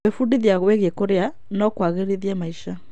Gwaĩbundithia wĩgiĩ kũrĩa no kũagĩrithie maica.